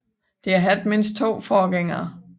Det har haft mindst 2 forgængere